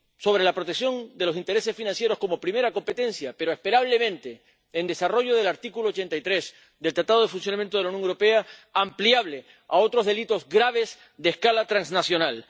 con la protección de los intereses financieros como primera competencia, pero cabe esperar que —en desarrollo del artículo 83 del Tratado de Funcionamiento de la Unión Europea— ampliable a otros delitos graves de escala transnacional.